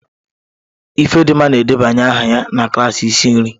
Ifedimma na-edebanye aha na klaasị isi nri